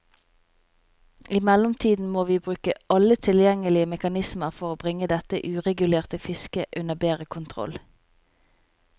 I mellomtiden må vi bruke alle tilgjengelige mekanismer for bringe dette uregulerte fisket under bedre kontroll.